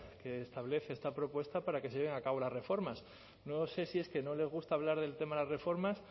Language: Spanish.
que establece esta propuesta para que se lleven a cabo las reformas no sé si es que no les gusta hablar del tema de las reformas